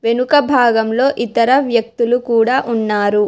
వెనుక భాగంలో ఇతర వ్యక్తులు కూడా ఉన్నారు.